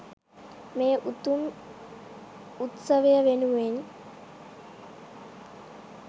මේ උතුම් උත්සවය වෙනුවෙන්